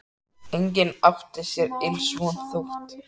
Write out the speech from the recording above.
Enginn átti sér ills von, þótt